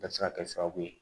Bɛ se ka kɛ sababu ye